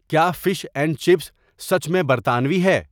کیا fish and chips سچ میں برتانوی ہے؟